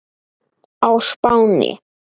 á Spáni.